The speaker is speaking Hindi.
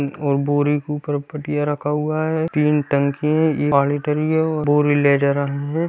और बोरी के ऊपर पटिया रखा हुआ है तीन टंकी है बोरी ले जा रहा है।